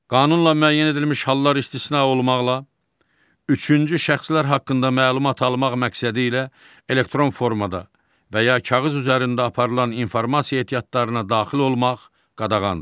Qanunla müəyyən edilmiş hallar istisna olmaqla, üçüncü şəxslər haqqında məlumat almaq məqsədilə elektron formada və ya kağız üzərində aparılan informasiya ehtiyatlarına daxil olmaq qadağandır.